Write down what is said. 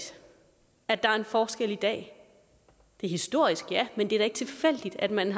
at der er en forskel i dag det er historisk ja men det er da ikke tilfældigt at man